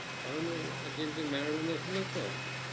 তবে ওই আর্জেন্টিনার মারাদোনা আছে তো